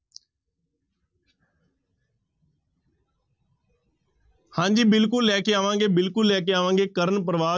ਹਾਂਜੀ ਬਿਲਕੁਲ ਲੈ ਕੇ ਆਵਾਂਗੇ ਬਿਲਕੁਲ ਲੈ ਕੇ ਆਵਾਂਗੇ ਕਰਨ ਪ੍ਰਵਾ,